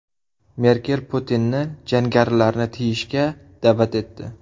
Merkel Putinni jangarilarni tiyishga da’vat etdi.